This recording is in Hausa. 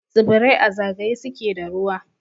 Tsibirai a zagaye suke da ruwa.